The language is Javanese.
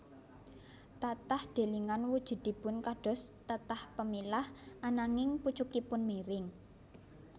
Tatah delingan wujudipun kados tatah pemilah ananging pucukipun miring